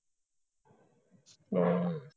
ਹਮ